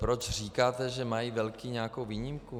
Proč říkáte, že mají velcí nějakou výjimku?